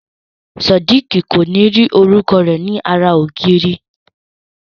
Sodiq ko ni ri orúkọ rẹ ní ara ògiri.